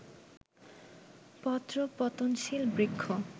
পত্রপতনশীল বৃক্ষ